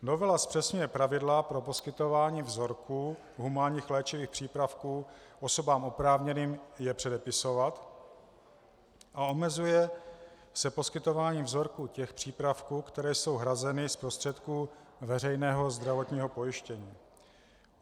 Novela zpřesňuje pravidla pro poskytování vzorků humánních léčivých přípravků osobám oprávněným je předepisovat a omezuje se poskytování vzorků těch přípravků, které jsou hrazeny z prostředků veřejného zdravotního pojištění.